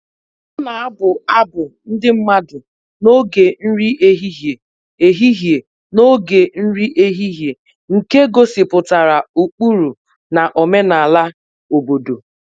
Ọ na-abụ abụ ndị mmadụ n'oge nri ehihie ehihie n'oge nri ehihie nke gosipụtara ụkpụrụ na omenala obodo